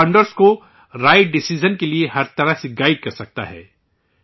یہ فاؤنڈرز کو right decision کے لئے ہر طرح سے گائیڈ کرسکتا ہے